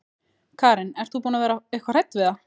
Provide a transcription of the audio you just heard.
Karen: Ert þú búin að vera eitthvað hrædd við það?